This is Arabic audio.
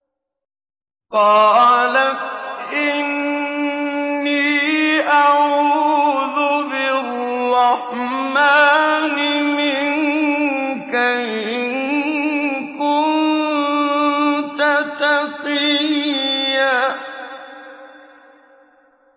قَالَتْ إِنِّي أَعُوذُ بِالرَّحْمَٰنِ مِنكَ إِن كُنتَ تَقِيًّا